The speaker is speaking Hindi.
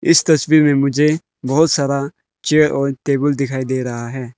इस तस्वीर में मुझे बहोत सारा चेयर और टेबल दिखाई दे रहा है।